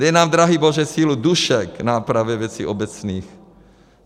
Dej nám, drahý Bože, sílu duše k nápravě věcí obecných.